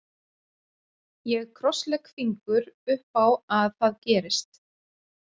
Ég krosslegg fingur upp á að það gerist.